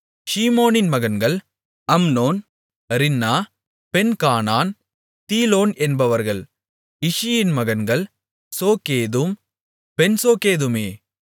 ஷீமோனின் மகன்கள் Amnon Rinnah Benhanan Tilon என்பவர்கள் இஷியின் மகன்கள் சோகேதும் பென்சோகேதுமே